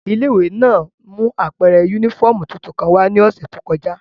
Ile-iwe náa mu apẹrẹ unifọmú tuntun kan wa ni ọsẹ to kọja.